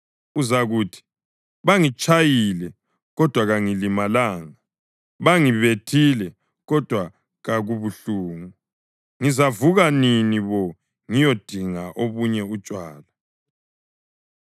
Uzakuthi, “Bangitshayile kodwa kangilimalanga! Bangibethile kodwa kakubuhlungu! Ngizavuka nini bo ngiyodinga obunye utshwala?”